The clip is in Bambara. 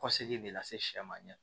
Kɔ segi de lase sɛma ɲɛ